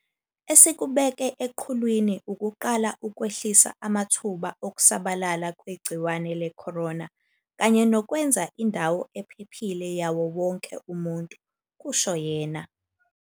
"Esikubeke eqhulwini ukuqala ukwehlisa amathuba okusabalala kwegciwane le-corona kanye nokwenza indawo ephephile yawo wonke umuntu," kusho yena.